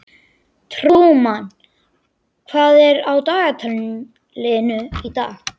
Trúmann, hvað er á dagatalinu í dag?